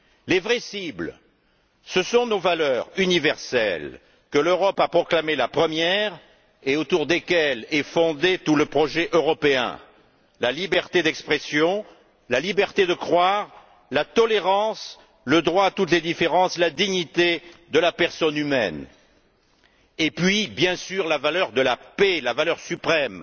Les vraies cibles sont nos valeurs universelles que l'Europe a proclamées la première et autour desquelles est fondé tout le projet européen la liberté d'expression, la liberté de croire, la tolérance, le droit à toutes les différences, la dignité de la personne humaine et, bien sûr, la valeur de la paix la valeur suprême.